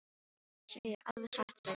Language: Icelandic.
Það segirðu alveg satt, sagði ég.